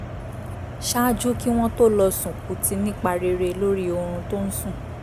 ṣáájú kí wọ́n tó lọ sùn kù ti nípa rere lórí oorun tó ń sùn